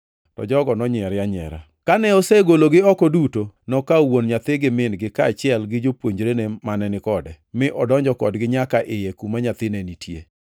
To jogo nonyiere anyiera. Kane osegologi oko duto, nokawo wuon nyathi gi min-gi kaachiel gi jopuonjre mane ni kode, mi odonjo kodgi nyaka iye kuma nyathi ne nitie.